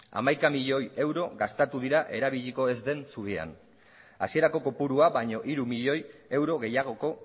hamaika milioi euro gastatu dira erabiliko ez den zubian hasierako kopurua baino hiru milioi euro gehiagoko